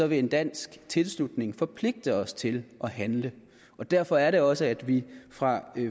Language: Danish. vil en dansk tilslutning forpligte os til at handle og derfor er det også at vi fra